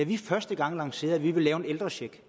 vi første gang lancerede at vi ville lave en ældrecheck